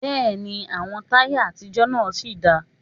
Bẹ́ẹ̀ni, àwọn táyà àtijọ́ náà sì dáa